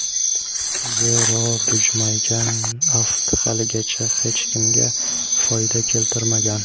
zero bujmaygan aft haligacha hech kimga foyda keltirmagan.